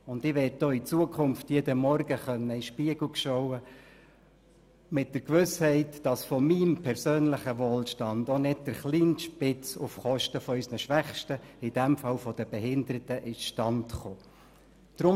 Ich möchte auch künftig jeden Morgen in den Spiegel schauen können mit der Gewissheit, dass von meinem persönlichen Wohlstand auch nicht das kleinste Stück auf Kosten unserer Schwächsten, in diesem Fall der Behinderten, zustande gekommen ist.